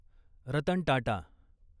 Ratan Tata